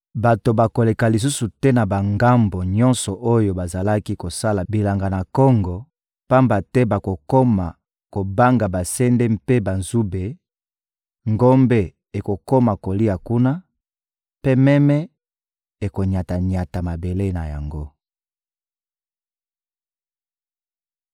Bato bakoleka lisusu te na bangambo nyonso oyo bazalaki kosala bilanga na kongo, pamba te bakokoma kobanga basende mpe banzube; ngombe ekokoma kolia kuna, mpe meme ekonyata-nyata mabele na yango.